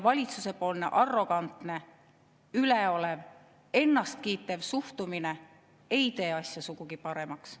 Valitsuse arrogantne, üleolev ja ennast kiitev suhtumine ei tee asja sugugi paremaks.